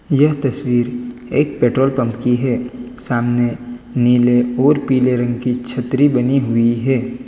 यह तस्वीर एक पेट्रोल पंप की है सामने नील और पीले रंग की छत्री बनी हुई है।